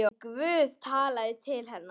En Guð talaði til hennar.